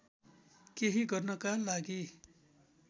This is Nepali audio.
केही गर्नका लागि